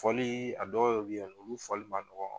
Fɔli a dɔw be yen nɔ olu fɔli man nɔgɔ